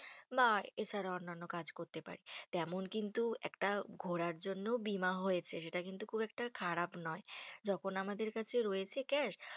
বা এছাড়া অন্যান্য কাজ করতে পারি। তেমন কিন্তু একটা ঘোরার জন্যও বীমা হয়েছে। সেটা কিন্তু খুব একটা খারাপ নয়। যখন আমাদের কাছে রয়েছে cash